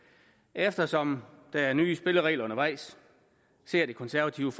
eftersom der er nye spilleregler undervejs ser det konservative